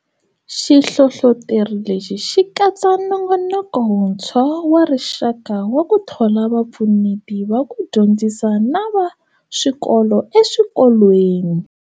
Xihlohloteri lexi xi katsa nongonoko wuntshwa wa rixaka wa ku thola vapfuneti va ku dyondzisa na va swikolo eswikolweni.